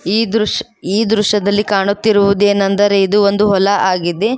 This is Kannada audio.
ಈ ದೃಶ್ ಈ ದೃಶ್ಯದಲ್ಲಿ ಕಾಣುತ್ತಿರುವುದೇನಂದರೆ ಇದು ಒಂದು ಹೊಲ ಆಗಿದೆ.